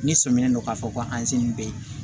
Ne sɔminen don k'a fɔ ko an si nin bɛ yen